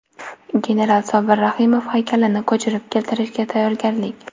General Sobir Rahimov haykalini ko‘chirib keltirishga tayyorgarlik.